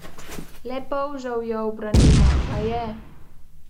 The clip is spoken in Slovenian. Le polžev jo ubranimo, pa je!